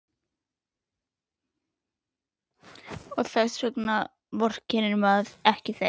Og þess vegna vorkennir maður þeim ekki.